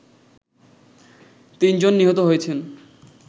৩ জন নিহত হয়েছেন